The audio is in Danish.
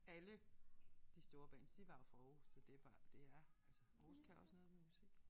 Alle de store bands de var jo fra Aarhus så det var det er altså Aarhus kan også noget med musik